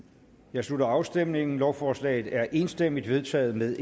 jeg slutter afstemningen lovforslaget er enstemmigt vedtaget med